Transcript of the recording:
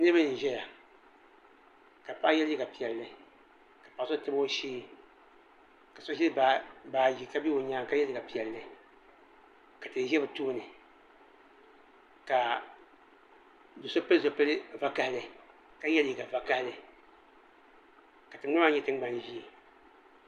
Niriba n zɛya ka paɣa ye liiga piɛlli ka so tabi o shɛɛ ka so ziri baaji ka bɛ o yɛanga ka ye liiga piɛlli ka tihi zɛ bi tooni ka do so pili zupiligu vakahali ka ye liiga vakahali ka tiŋgbani maa nyɛ tiŋgbani zɛɛ.